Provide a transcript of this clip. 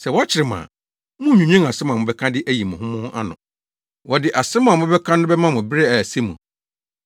Sɛ wɔkyere mo a, munnnwinwen asɛm a mobɛka de ayi mo ho ano ho. Wɔde asɛm a mobɛka no bɛma mo bere a ɛsɛ mu.